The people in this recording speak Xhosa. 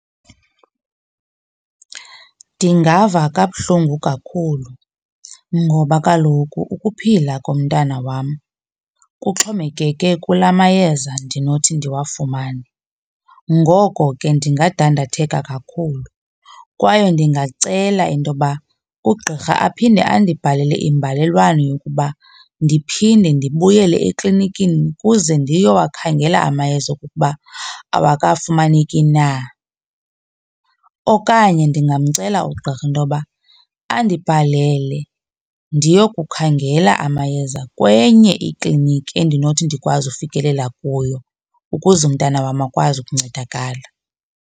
Ndingava kabuhlungu kakhulu ngoba kaloku ukuphila komntana wam kuxhomekeke kula mayeza ndinothi ndiwafumane. Ngoko ke ndingadandatheka kakhulu kwaye ndingacela into yoba ugqirha aphinde andibhalele imbalelwano yokuba ndiphinde ndibuyele eklinikini kuze ndiyowakhangela amayeza okokuba awakafumaneki na. Okanye ndingamcela ugqirha intoba andibhalele ndiyokukhangela amayeza kwenye ikliniki endinothi ndikwazi ufikelela kuyo ukuze umntana wam akwazi ukuncedakala.